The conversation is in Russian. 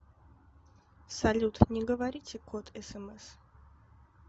салют не говорите код смс